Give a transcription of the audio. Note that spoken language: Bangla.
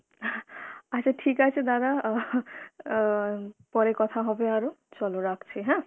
আহা আচ্ছা ঠিক আছে দাদা অ্যাঁ পরে কথা হবে আরও, চলো রাখছি হ্যাঁ?